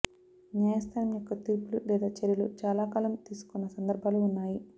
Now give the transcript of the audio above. న్యాయస్థానం యొక్క తీర్పులు లేదా చర్యలు చాలా కాలం తీసుకొన్న సందర్భాలు ఉన్నాయి